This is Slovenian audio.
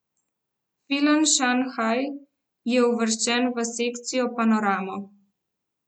Film Šanhaj je uvrščen v sekcijo Panorama.